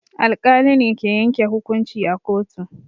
Alƙali ne ke yanke hukunci a kotu.